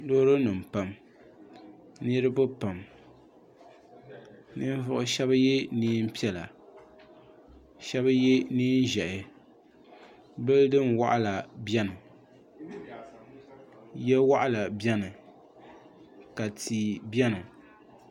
Loorinima pam niriba pam ninvuɣ’shɛba ye nɛm’piɛla ka shɛba ye nɛm’ʒihi bilidin’waɣila beni ya waɣila beni ka tia beni